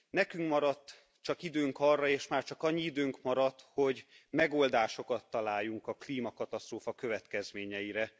Nekünk maradt csak időnk arra, és már csak annyi időnk maradt, hogy megoldásokat találjunk a klímakatasztrófa következményeire.